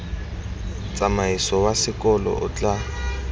tsamaiso wa sekolo o tla